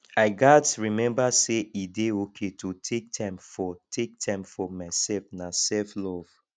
i gats remember say e dey okay to take time for take time for myself na selflove